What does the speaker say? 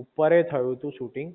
ઉપરે થયું તું શૂટિંગ